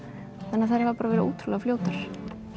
þannig að þær hafa bara verið ótrúlega fljótar